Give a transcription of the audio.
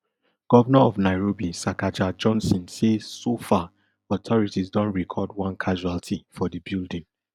govnor of nairobi sakaja johnson say so far authorities don record one casualty for di building